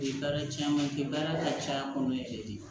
U ye baara caman kɛ baara ka ca kɔnɔ yɛrɛ de